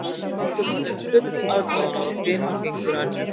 Hildur horfði full aðdáunar á fima fingur Önnu